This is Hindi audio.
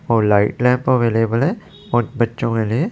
और लाइट लैंप अवेलेबल है उन बच्चों के लिए--